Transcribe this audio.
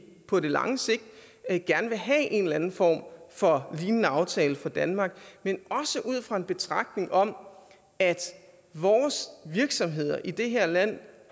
på det lange sigt gerne vil have en eller anden form for lignende aftale for danmark men også ud fra en betragtning om at vores virksomheder i det her land